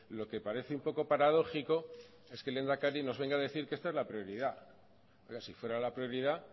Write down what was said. lo que parece un poco paradójico es que el lehendakari nos venga a decir que esta es la prioridad si fuera la prioridad